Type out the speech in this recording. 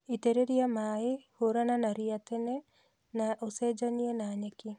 Itĩreria maaĩ, hũrana na ria tene na ũcenjanie na nyeki